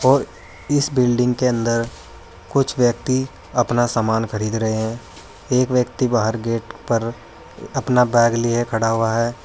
और इस बिल्डिंग के अंदर कुछ व्यक्ति अपना समान खरीद रहे हैं एक व्यक्ति बाहर गेट पर अपना बैग लिए खड़ा हुआ है।